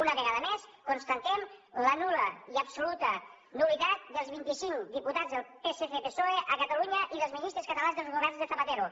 una vegada més constatem la nul·la l’absoluta nul·litat dels vinticinc diputats del pscpsoe de catalunya i dels ministres catalans dels governs de zapatero